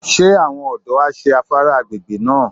Ṣé àwọn ọ̀dọ́ á ṣé afárá agbègbè náà?